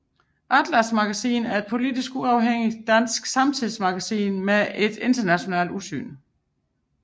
ATLAS Magasin er et politisk uafhængigt dansk samtidsmagasin med et internationalt udsyn